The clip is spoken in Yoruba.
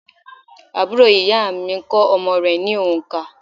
Àbúrò ìyá à mi kó omo rè ní ònkà